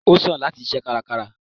o sán latí sìsé kárákárá